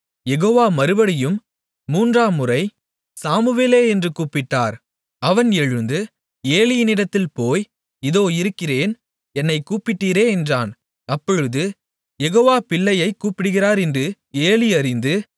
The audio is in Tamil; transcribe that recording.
யெகோவா மறுபடியும் மூன்றாம்முறை சாமுவேலே என்று கூப்பிட்டார் அவன் எழுந்து ஏலியினிடத்தில் போய் இதோ இருக்கிறேன் என்னைக் கூப்பிட்டீரே என்றான் அப்பொழுது யெகோவா பிள்ளையைக் கூப்பிடுகிறார் என்று ஏலி அறிந்து